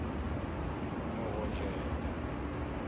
morojele